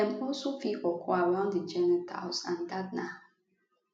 dem also fit occur around di genitals and dat na